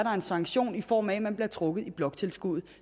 en sanktion i form af at man bliver trukket i bloktilskuddet